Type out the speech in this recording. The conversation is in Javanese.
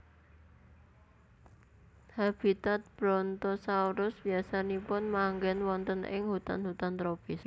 Habitat Brontosaurus biasanipun manggen wonten ing hutan hutan tropis